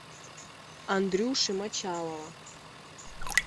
андрюши мочалова